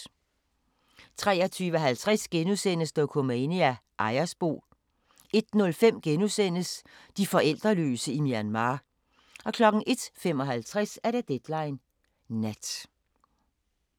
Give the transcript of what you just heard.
23:50: Dokumania: Ejersbo * 01:05: De forældreløse i Myanmar * 01:55: Deadline Nat